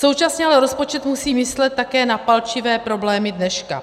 Současně ale rozpočet musí myslet také na palčivé problémy dneška.